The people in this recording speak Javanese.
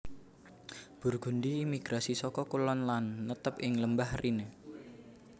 Burgundi migrasi saka kulon lan netep ing Lembah Rhine